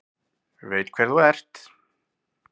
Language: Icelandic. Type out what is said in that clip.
Veit hver þú ert.